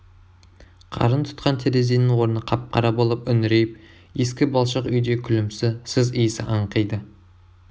қарын тұтқан терезенің орны қап-қара болып үңірейіп ескі балшық үйде күлімсі сыз иісі аңқиды